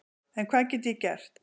En hvað get ég gert?